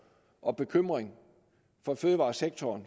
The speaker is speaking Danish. og bekymring for fødevaresektoren